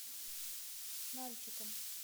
нальчиком